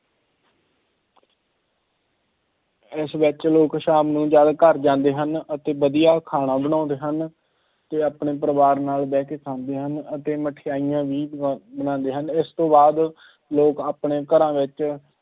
ਇਸ ਵਿੱਚ ਲੋਕ ਸ਼ਾਮ ਨੂੰ ਜਦ ਘਰ ਜਾਂਦੇ ਹਨ ਅਤੇ ਵਧੀਆ ਖਾਣਾ ਬਣਾਉਂਦੇ ਹਨ ਅਤੇ ਆਪਣੇ ਪਰਿਵਾਰ ਨਾਲ ਬੈਠ ਕੇ ਖਾਂਦੇ ਹਨ ਅਤੇ ਮਠਿਆਈਆਂ ਵੀ ਬ~ ਬਣਾਉਂਦੇ ਹਨ, ਇਸ ਤੋਂ ਬਾਅਦ ਲੋਕ ਆਪਣੇ ਘਰਾਂ ਵਿੱਚ